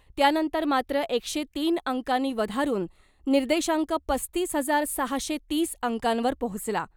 त्यानंतर मात्र एकशे तीन अंकांनी वधारून निर्देशांक पस्तीस हजार सहाशे तीस अंकांवर पोहोचला .